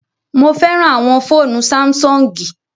Mo fẹràn àwọn fóònù Sáḿsọ̀ngì